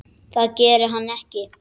Það gerir hann ekki!